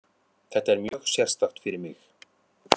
Þetta er mjög sérstakt fyrir mig.